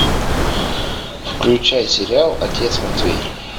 включай сериал отец матвей